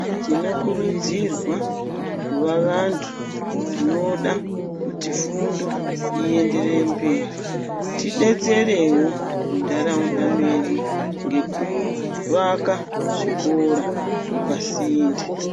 Tinokurudzirwa kuva vantu vanoda kuti fundo ienderere mberi. Tidetserewo muntaraunda medu ngekuvaka zvikora pasinde.